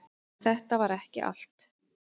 En þetta var ekki allt.